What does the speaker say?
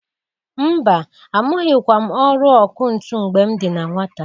Mba! Amụghịkwa m ọrụ ọkụ ntụ mgbe m dị na nwata.